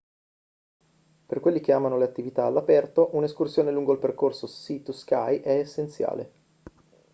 per quelli che amano le attività all'aperto un'escursione lungo il percorso sea to sky è essenziale